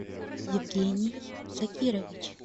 евгений шакирович